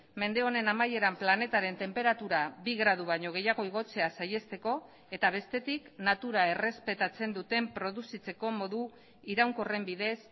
mende honen amaieran planetaren tenperatura bi gradu baino gehiago igotzea saihesteko eta bestetik natura errespetatzen duten produzitzeko modu iraunkorren bidez